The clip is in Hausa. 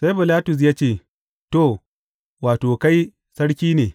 Sai Bilatus ya ce, To, wato, kai sarki ne!